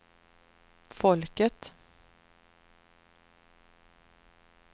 folket